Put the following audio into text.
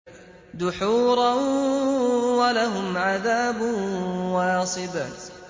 دُحُورًا ۖ وَلَهُمْ عَذَابٌ وَاصِبٌ